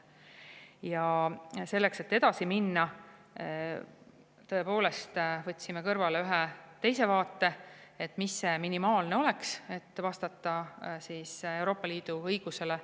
Ja selleks, et edasi minna, me tõepoolest võtsime kõrvale ühe teise vaate, et mis oleks minimaalne variant, et vastata Euroopa Liidu õigusele.